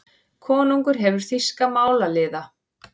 Konungur hefur þýska málaliða.